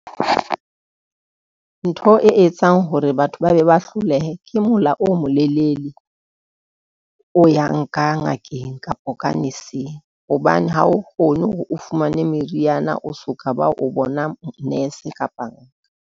Ntho e etsang hore batho ba be ba hlolehe. Ke mola o molelele, o yang ka ngakeng kapa ka nurse-ng. Hobane ha o kgone hore o fumane meriana, o soka, ba o bona nurse kapa.